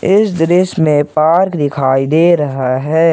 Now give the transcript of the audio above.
इस दृश्य में पार्क दिखाई दे रहा है।